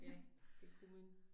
Ja det kunne man